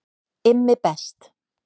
IMMI BEST